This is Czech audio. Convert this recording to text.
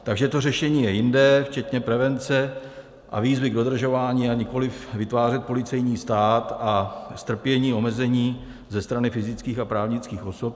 Takže to řešení je jinde, včetně prevence a výzvy k dodržování, a nikoliv vytvářet policejní stát a strpění omezení ze strany fyzických a právnických osob.